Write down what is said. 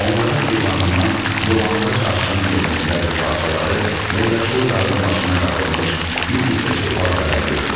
Onların eyvanından dolanbac aşırım yolunun bəzi parçaları və yaşıl dağın başına qalxılmış bir neçə çılpaq qaya görünürdü.